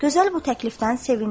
Gözəl bu təklifdən sevindi.